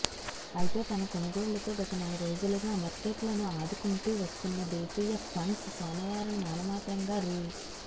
అయితే తమ కొనుగోళ్లతో గత నెల రోజులుగా మర్కెట్లను ఆదుకుంటూ వస్తున్న దేశీయ ఫండ్స్ సోమవారం నామమాత్రం గా రూ